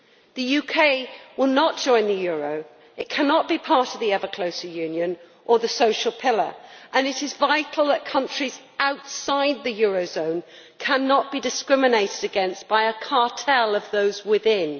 The UK will not join the euro, it cannot be part of the ever closer union or the social pillar, and it is vital that countries outside the eurozone cannot be discriminated against by a cartel of those within.